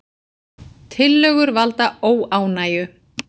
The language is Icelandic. Tillögur valda óánægju